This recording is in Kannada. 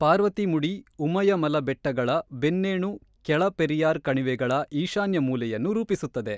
ಪಾರ್ವತಿಮುಡಿ-ಉಮಯಮಲ ಬೆಟ್ಟಗಳ ಬೆನ್ನೇಣು ಕೆಳ ಪೆರಿಯಾರ್ ಕಣಿವೆಗಳ ಈಶಾನ್ಯ ಮೂಲೆಯನ್ನು ರೂಪಿಸುತ್ತದೆ.